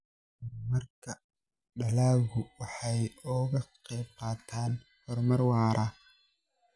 Horumarka dalaggu waxa uu ka qayb qaataa horumar waara.